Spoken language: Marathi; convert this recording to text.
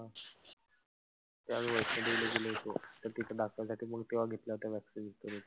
तर तिथं दाखवण्यासाठी म्हणून तेंव्हा घेतल्या होत्या vaccine.